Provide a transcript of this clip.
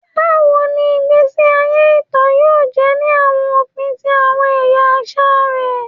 Bawo ni igbesi aye ita yoo jẹ ni awọn ofin ti awọn ẹya aṣa rẹ?